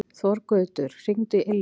Þorgautur, hringdu í Ylju.